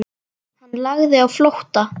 Hann lagði á flótta.